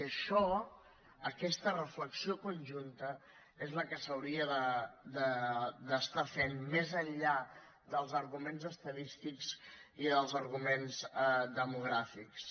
i això aquesta reflexió conjunta és la que s’hauria d’estar fent més enllà dels arguments estadístics i dels arguments demogràfics